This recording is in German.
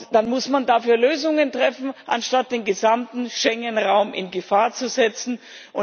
Dann muss man dafür Lösungen schaffen, anstatt den gesamten Schengen Raum in Gefahr zu bringen.